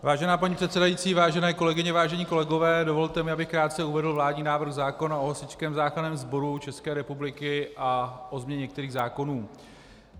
Vážená paní předsedající, vážené kolegyně, vážení kolegové, dovolte mi, abych krátce uvedl vládní návrh zákona o Hasičském záchranném sboru České republiky a o změně některých zákonů.